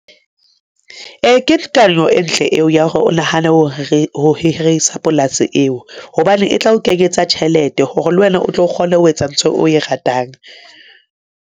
Ee, ke kano e ntle eo ya hore o nahane ho re ho hirisa polasi eo, hobane e tla o kenyetsa tjhelete hore le wena o tlo kgone ho etsa ntho o e ratang.